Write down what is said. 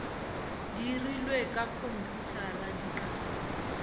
dirilwe ka khomphuthara di ka